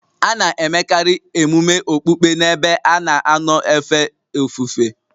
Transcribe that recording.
A na-emekarị emume okpukpe n'ebe a na-anọ efe ofufe